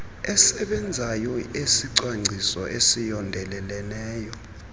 esebenzayo esicwangciso esiyondeleleneyo